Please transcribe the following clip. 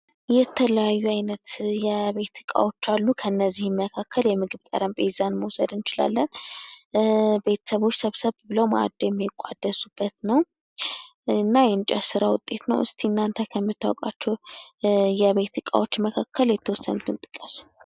የተለያዩ አይነት የቤት እቃዎች አሉ። ከነዚህም መካከል የምግብ ጠረጴዛን መውሰድ እንችላለን። ቤተሰቦች ሰብሰብ ብለው መአድ የሚቆደሱበት ነው። እና የእንጨት ስራ ውጤት ነው። እስኪ እናንተ ከምታውቁዋቸው የቤት እቃዎች መካከል የተወሰኑትን ጥቀሱ?